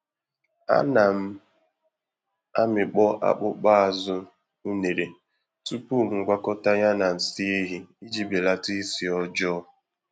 Ana m amịkpọ akpụkpọ-azụ unere tupu m gwakọta ya na nsị ehi iji belata isi ọjọọ.